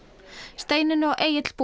Steinunn og Egill búa